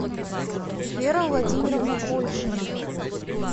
вера владимировна польшина